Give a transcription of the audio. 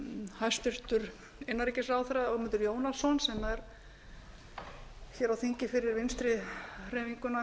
hæstvirtur innanríkisráðherra ögmundur jónasson sem er á þingi fyrir vinstri hreyfinguna